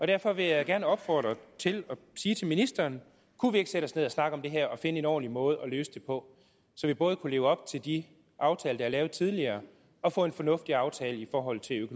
derfor vil jeg gerne opfordre og sige til ministeren kunne vi ikke sætte os ned og snakke om det her og finde en ordentlig måde at løse det på så vi både kunne leve op til de aftaler der er lavet tidligere og få en fornuftig aftale i forhold til